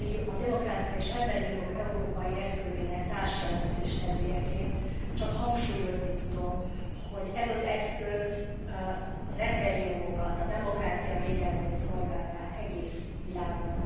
A demokrácia és az emberi jogok európai eszközének társjelentéstevőjeként csak hangsúlyozni tudom, hogy ez az eszköz az emberi jogokat, a demokrácia védelmét szolgálná az egész világon.